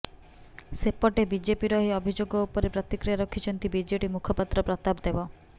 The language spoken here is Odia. ସେପଟେ ବିଜେପିର ଏହି ଅଭିଯୋଗ ଉପରେ ପ୍ରତିକ୍ରିୟା ରଖିଛନ୍ତି ବିଜେଡି ମୁଖପାତ୍ର ପ୍ରତାପ ଦେବ